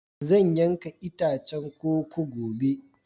Zan yanka itacen koko gobe.